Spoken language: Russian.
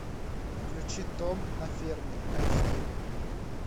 включи том на ферме айч ди